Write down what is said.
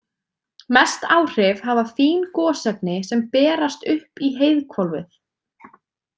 Mest áhrif hafa fín gosefni sem berast upp í heiðhvolfið.